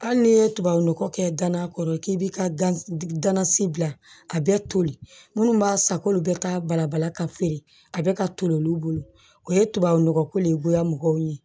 Hali n'i ye tubabu nɔgɔ kɛ gana kɔrɔ k'i bi ka gan ganasi bila a bɛ toli minnu b'a san k'olu bɛ ka balabala ka feere a bɛ ka toli olu bolo o ye tubabu nɔgɔ ko de ye goya mɔgɔw ye